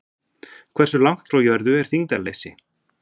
Hversu langt frá jörðu er þyngdarleysi?